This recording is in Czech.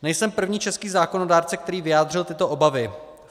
Nejsem první český zákonodárce, který vyjádřil tyto obavy.